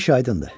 Hər iş aydındır.